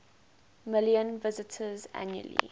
million visitors annually